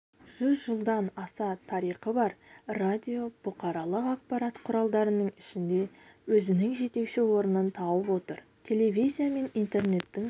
жүз жылдан аса тарихы бар радио бұқаралық ақпарат құралдарының ішінде өзінің жетекші орнын тауып отыр телевизия мен интернеттің